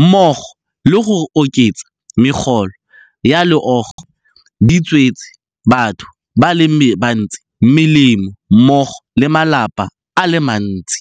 mmogo le go oketsa megolo ya loago di tswetse batho ba le bantsi molemo mmogo le malapa a le mantsi.